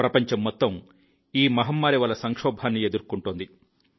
ప్రపంచం మొత్తం ఈ మహమ్మారి వల్ల సంక్షోభాన్ని ఎదుర్కొంటోంది